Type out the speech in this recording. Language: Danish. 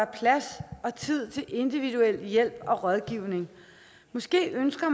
plads og tid til individuel hjælp og rådgivning måske ønsker og